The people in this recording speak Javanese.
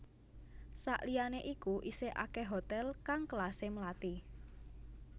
Sakliyane iku isih akeh hotel kang kelase melati